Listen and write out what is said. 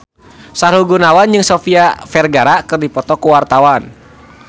Sahrul Gunawan jeung Sofia Vergara keur dipoto ku wartawan